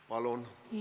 Palun!